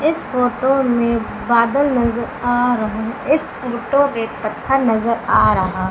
इस फोटो में बादल नजर आ रहा इस फोटो में पत्थर नजर आ रहा--